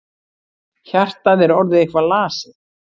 Hjartað er orðið eitthvað lasið.